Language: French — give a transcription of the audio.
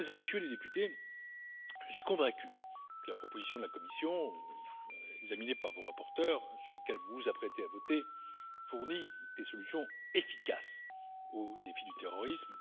Mesdames et Messieurs les Députés, je suis convaincu que la proposition de la Commission, examinée par vos rapporteurs et sur laquelle vous vous apprêtez à voter, fournit des solutions efficaces au défi du terrorisme.